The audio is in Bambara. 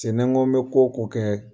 Se n'an k'o an bɛ ko o kɛ